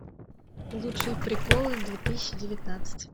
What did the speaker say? лучшие приколы две тысячи девятнадцать